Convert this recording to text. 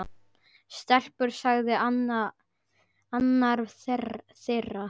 Stelpur sagði annar þeirra.